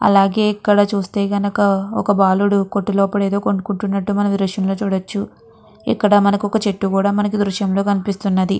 అలాగే ఇక్కడ చూస్తే కనక ఒక బాలుడు కొట్టు లోపల ఏదో కొనుకున్నట్టు మనం ఈ దృశ్యం లో చూడచ్చు ఇక్కడ మనకి ఒక చెట్టు కూడా మనకి ఈ దృశ్యం లో కనిపిస్తున్నది.